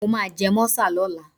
Mo máa jẹ mọ́sà lọ́la.